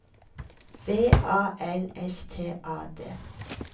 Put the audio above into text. V A L S T A D